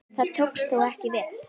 Það tókst þó ekki vel.